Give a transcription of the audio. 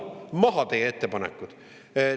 Maha teie ettepanekud!